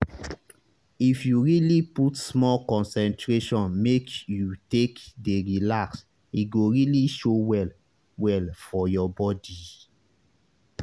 if you really put small concentration make you take dey relax e go really show well well for your body